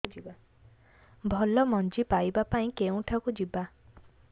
ଭଲ ମଞ୍ଜି ପାଇବା ପାଇଁ କେଉଁଠାକୁ ଯିବା